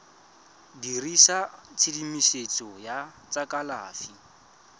dirisa tshedimosetso ya tsa kalafi